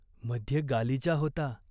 मध्ये गालिचा होता.